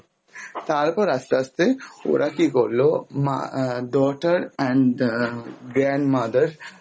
তারপর আস্তে আস্তে ওরা কি করল, মা ah daughter and ah grandmother